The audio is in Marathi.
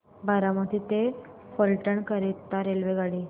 बारामती ते फलटण करीता रेल्वेगाडी